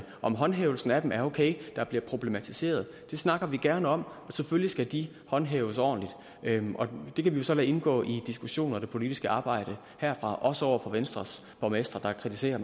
om håndhævelsen af dem er okay der bliver problematiseret det snakker vi gerne om selvfølgelig skal de håndhæves ordentligt og det kan vi så lade indgå i diskussioner og det politiske arbejde herfra også over for venstres borgmestre der kritiserer